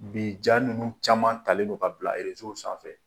Bi ja ninnu caman talen don ka bila erezow sanfɛ.